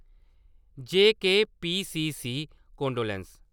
JKPCC condolence